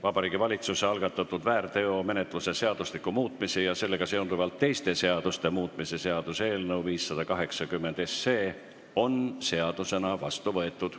Vabariigi Valituse algatatud väärteomenetluse seadustiku muutmise ja sellega seonduvalt teiste seaduste muutmise seaduse eelnõu 580 on seadusena vastu võetud.